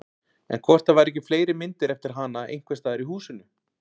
En hvort það væru ekki fleiri myndir eftir hana einhvers staðar í húsinu?